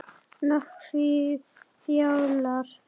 Nökkvi Fjalar.